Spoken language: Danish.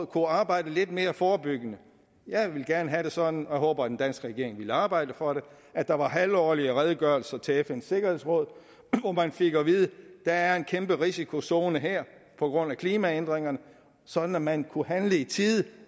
kunne arbejde lidt mere forebyggende jeg ville gerne have det sådan og jeg håber at den danske regering vil arbejde for det at der var halvårlige redegørelser til fns sikkerhedsråd hvor man fik at vide at der er en kæmpe risikozone her på grund af klimaændringerne sådan at man kunne handle i tide